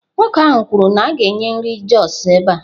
Nwoke ahụ kwuru na a ga-enye nri Jos ebe a.